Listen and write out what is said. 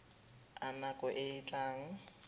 a nako e e tlang